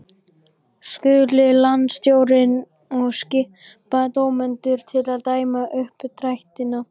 Skuli landsstjórnin og skipa dómendur til að dæma uppdrættina.